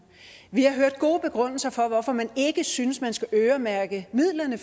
vi har hørt gode begrundelser for at man ikke synes at man skal øremærke midlerne